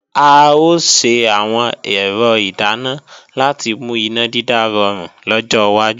A ò ṣe àwọn ẹ̀rọ ìdáná láti mú iná dídá rọrùn lọ́jọ́ wájú